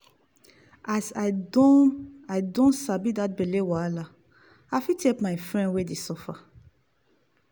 as i don i don sabi that belle wahala i fit help my friend wey dey suffer.